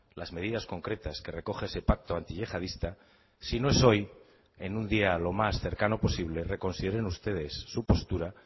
las medidas concretas que recoge ese pacto antiyihadista si no es hoy en un día lo más cercano posible reconsideren ustedes su postura